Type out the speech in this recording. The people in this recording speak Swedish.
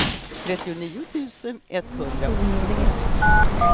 trettionio tusen etthundraåttioett